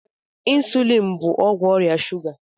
Ịnsụlịn bụ ọgwụ ọrịa shuga.